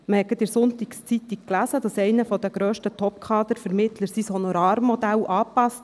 In der «Sonntagszeitung» konnte man kürzlich lesen, einer der grössten Topkader-Vermittler habe sein Honorarmodell angepasst.